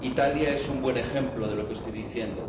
Italia es un buen ejemplo de lo que estoy diciendo.